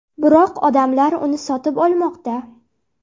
Biroq odamlar uni sotib olmoqda.